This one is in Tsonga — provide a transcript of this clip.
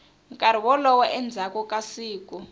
nkarhi wolowo endzhaku ka siku